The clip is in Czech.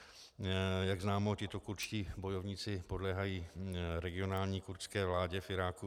Jak známo, tito kurdští bojovníci podléhají regionální kurdské vládě v Iráku.